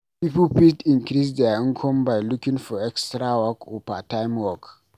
Pipo fit increase their income by looking for extra work or part time work